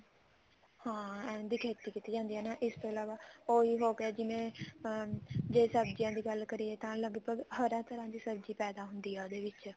ਹਾਂ ਇਹਨਾ ਦੀ ਖੇਤੀ ਜਾਂਦੀ ਆ ਇਸ ਤੋਂ ਇਲਾਵਾ ਉਹੀ ਹੋਗਿਆ ਜਿਵੇਂ ਜੇ ਸਬਜੀਆਂ ਦੀ ਗੱਲ ਕਰੀਏ ਤਾਂ ਲਗਭਗ ਹਰ ਇਕ ਤਰ੍ਹਾਂ ਦੀ ਸਬ੍ਜ਼ੀ ਪੈਦਾ ਹੁੰਦੀ ਆ ਉਹਦੇ ਵਿੱਚ